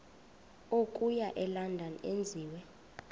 okuya elondon enziwe